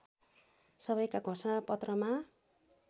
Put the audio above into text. सबैका घोषणा पत्रमा